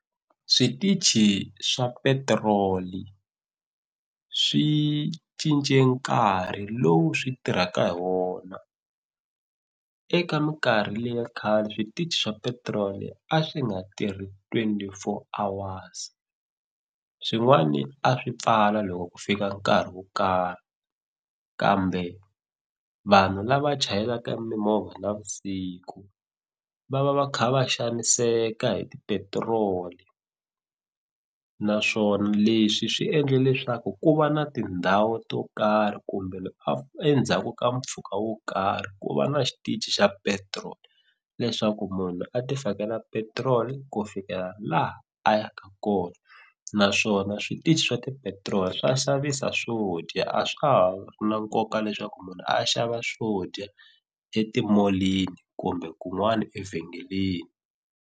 Switichi swa petiroli swi cince nkarhi lowu swi tirhaka hi wona eka minkarhi leya khale switichi swa petiroli a swi nga tirhi twenty four hours swin'wani a swi pfala loko ku fika nkarhi wo karhi kambe vanhu lava chayelaka mimovha navusiku va va va kha va xaniseka hi tipetiroli naswona leswi swi endle leswaku ku va na tindhawu to karhi kumbe endzhaku ka mpfhuka wo karhi ku va na xitichi xa petiroli leswaku munhu a ti fakela petiroli ku fikela laha a ya ka kona naswona switichi swa tipetiroli swa xavisa swo dya a swa ha ri na nkoka leswaku munhu a xava swo dya etimolini kumbe kun'wani evhengeleni.